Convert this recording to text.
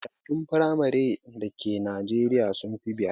Makarantun firamaren da Ke najeriya sun fi biyar